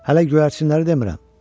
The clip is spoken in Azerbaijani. Hələ göyərçənləri demirəm.